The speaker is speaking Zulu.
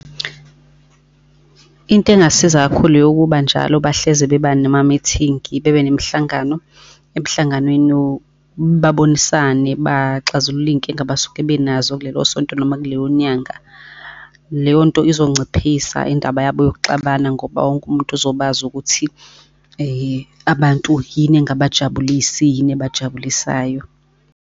Into engasiza kakhulu, eyokuba njalo bahlezi beba noma-meeting-i, bebe nemihlangano, emhlanganweni babonisane baxazulule iy'nkinga abasuke benazo kulelo sonto noma kuleyo nyanga. Leyonto izonciphisa indaba yabo yokuxabana ngoba wonke umuntu uzobe azi ukuthi abantu yini engabajabulisi, yini ebajabulisayo.